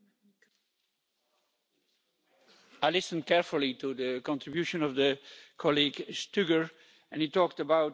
I listened carefully to the contribution of colleague Stuger, and he talked about the incest variant'.